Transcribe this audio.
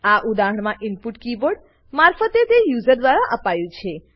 આ ઉદાહરણમા input keyboard મારફતે યુઝર દ્વારા આપ્યું છે